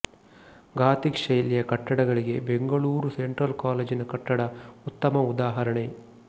gothic ಶೈಲಿಯ ಕಟ್ಟಡಗಳಿಗೆ Bengaluru central ಕಾಲೇಜಿನ ಕಟ್ಟಡ ಉತ್ತಮ ಉದಾಹರಣೆ